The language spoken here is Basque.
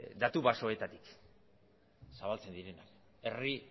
datu baseetatik zabaltzen direnak herri